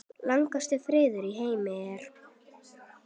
Lengstu firðir í heimi eru